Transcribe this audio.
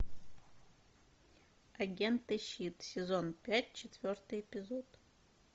агент и щит сезон пять четвертый эпизод